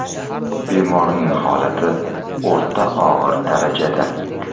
Bemorning holati o‘rta og‘ir darajada.